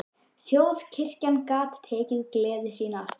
Þjóðkirkjan gat tekið gleði sína aftur.